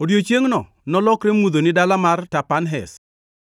Odiechiengno nolokre mudho ni dala mar Tapanhes,